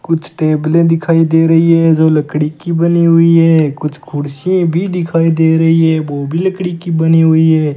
कुछ टेबलें दिखाई दे रही है जो लकड़ी की बनी हुई है कुछ कुर्सीएं भी दिखाई दे रही है वो भी लकड़ी की बनी हुई है।